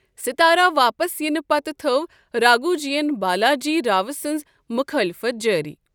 ستارہ واپس یِنہٕ پتہٕ تھٔو راگھوجی ین بالاجی راو سٕنز مُخٲلفت جٲری۔